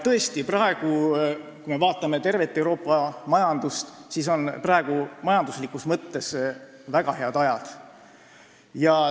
Tõesti, kui me vaatame tervet Euroopa majandust, siis näeme, et praegu on majanduslikus mõttes väga head ajad.